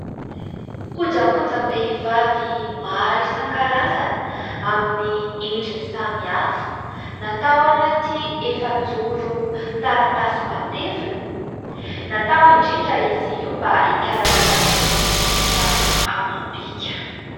Kojakojam-behivavy maro isan-karazany amin'ny endrin'ny samihafa, natao anaty efajoro taratasy mateviny, natao indrindra izy io mba hikarakara ny endrika amam-bika.